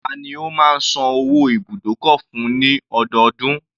Tani o má ń san owó ibùdókọ̀ fún ní ọdọọdún?